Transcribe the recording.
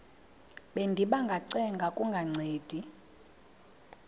bendiba ngacenga kungancedi